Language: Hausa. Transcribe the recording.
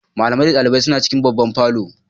Malamai da dalibai suna cikin babban falon.